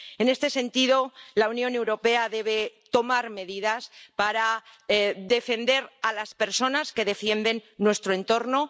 En este sentido, la Unión Europea debe tomar medidas para defender a las personas que defienden nuestro entorno.